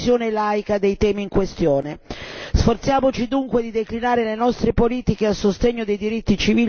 Sforziamoci dunque di declinare le nostre politiche a sostegno dei diritti civili ed umani, liberando la vita delle donne.